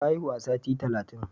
Ta haihu a sati talatin.